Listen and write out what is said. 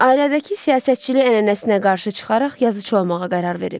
Ailədəki siyasətçilik ənənəsinə qarşı çıxaraq yazıçı olmağa qərar verib.